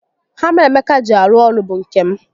Hama Emeka ji arụ ọrụ bụ nke m